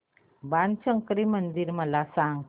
बाणशंकरी मंदिर मला सांग